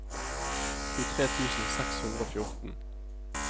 tjuetre tusen seks hundre og fjorten